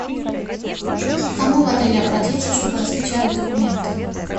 к кому в отеле обратиться чтобы распечатать документы